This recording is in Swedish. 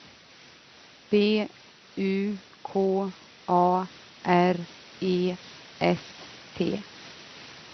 B U K A R E S T